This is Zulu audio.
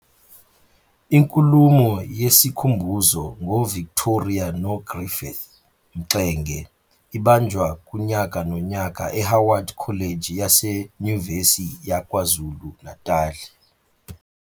Inkulumo yesikhumbuzo ngoVictoria noGriffiths Mxenge ibanjwa kunyaka nonyaka eHoward College yaseNyuvesi yaKwaZulu Natali.